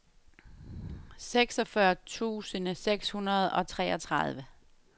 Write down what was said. seksogfyrre tusind seks hundrede og treogtredive